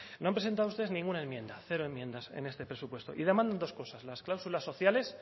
no han presentado ustedes ninguna enmienda cero enmiendas en este presupuesto y demandan dos cosas las cláusulas sociales